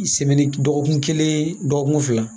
dɔgɔkun kelen dɔgɔkun fila